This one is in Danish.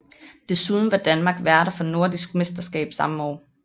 Desuden var Danmark værter for Nordisk Mesterskab samme år